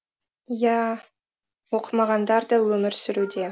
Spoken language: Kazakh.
иәә оқымағандар да өмір сүруде